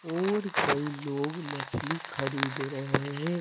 और कई लोग मछली खरीद रहे हैं।